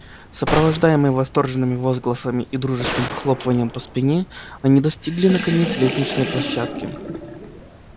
сопровождаемые восторженными возгласами и дружескими похлопываниями по спине они достигли наконец лестничной площадки